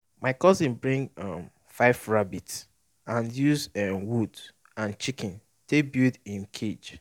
my cousin bring um five rabbit and use um wood and chiken take build um cage